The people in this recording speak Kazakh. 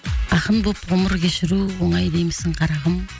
ақын боп ғұмыр кешіру оңай деймісің қарағым